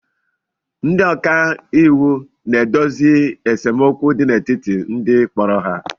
Ndị ọka iwu na-edozi esemokwu n'etiti ndị kporo ha